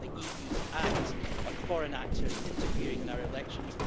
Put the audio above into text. I want the EU to act on foreign actors interfering in our elections.